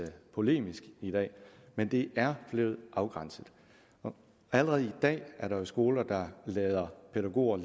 polemisk i dag men det er blevet afgrænset allerede i dag er der jo skoler der lader pædagoger